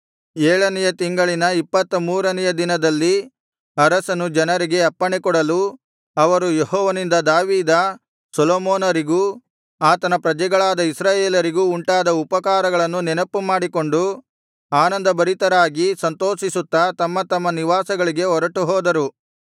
ಏಳನೆಯ ತಿಂಗಳಿನ ಇಪ್ಪತ್ತ ಮೂರನೆಯ ದಿನದಲ್ಲಿ ಅರಸನು ಜನರಿಗೆ ಅಪ್ಪಣೆಕೊಡಲು ಅವರು ಯೆಹೋವನಿಂದ ದಾವೀದ ಸೊಲೊಮೋನರಿಗೂ ಆತನ ಪ್ರಜೆಗಳಾದ ಇಸ್ರಾಯೇಲರಿಗೂ ಉಂಟಾದ ಉಪಕಾರಗಳನ್ನು ನೆನಪುಮಾಡಿಕೊಂಡು ಆನಂದಭರಿತರಾಗಿ ಸಂತೋಷಿಸುತ್ತಾ ತಮ್ಮ ತಮ್ಮ ನಿವಾಸಗಳಿಗೆ ಹೊರಟು ಹೋದರು